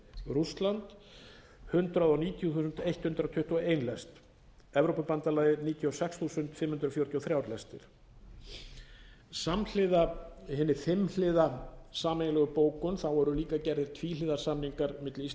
lestir rússland hundrað níutíu þúsund hundrað tuttugu og eitt lest evrópubandalagið níutíu og sex þúsund fimm hundruð fjörutíu og þrjú lestir samhliða hinni fimm hið sameiginlegu bókun voru líka gerðir tvíhliða samningar milli íslands